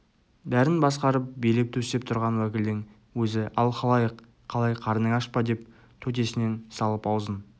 бәрін басқарып билеп-төстеп тұрған уәкілдің өзі ал халайық қалай қарның аш па деп төтесінен салып аузын